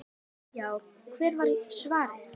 Já, hvert var svarið?